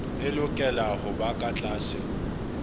e lokela hoba ka tlase